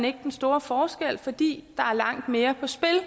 ikke den store forskel fordi der er langt mere